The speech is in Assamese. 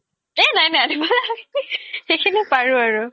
এই নাই নাই সিখিনি পাৰো আৰু